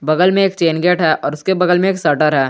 बगल में एक चैन गेट है और उसके बगल में एक सटर है।